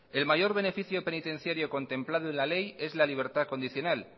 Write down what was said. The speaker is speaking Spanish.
el mayor beneficio penitenciario contemplado en la ley es la libertad condicional